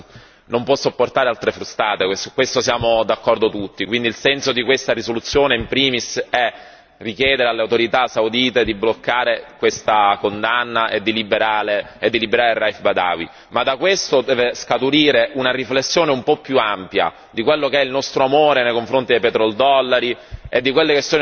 Su questo siamo d'accordo tutti e quindi il senso di questa risoluzione, in primis, è richiedere alle autorità saudite di bloccare questa condanna e di liberare Raïf Badawi. Ma da questo deve scaturire una riflessione un po' più ampia di quello che è il nostro amore nei confronti dei petrodollari e di quelli che sono i nostri rapporti con l'Arabia Saudita.